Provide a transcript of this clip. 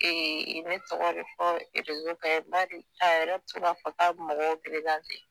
Ee ne tɔgɔ be fɔ erezo kan yen bari a yɛrɛ be to k'a fɔ k'a be mɔgɔw perezante